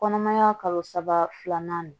Kɔnɔmaya kalo saba filanan